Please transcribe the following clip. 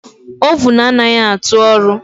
Ovun anaghị atụ ọrụ